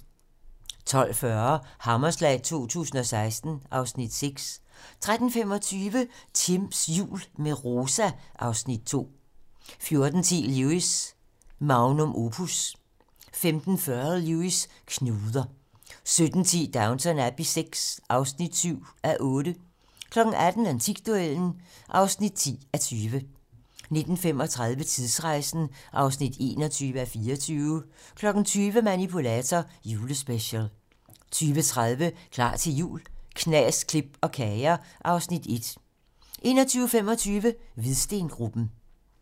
12:40: Hammerslag 2016 (Afs. 6) 13:25: Timms jul - med Rosa (Afs. 2) 14:10: Lewis: Magnum opus 15:40: Lewis: Knuder 17:10: Downton Abbey VI (7:8) 18:00: Antikduellen (10:20) 19:35: Tidsrejsen (21:24) 20:00: Manipulator - Julespecial 20:30: Klar til jul - knas, klip og kager (Afs. 1) 21:25: Hvidstengruppen